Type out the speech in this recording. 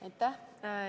Aitäh!